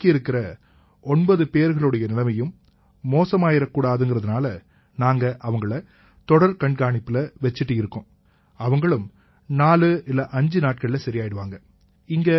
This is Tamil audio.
பாக்கி இருக்கற 9 பேர்களுடைய நிலைமையும் மோசமாயிரக்கூடாதுங்கறதால நாங்க அவங்களை தொடர் கண்காணிப்புல வச்சிட்டு இருக்கோம் அவங்களும் 45 நாட்கள்ல சரியாயிருவாங்க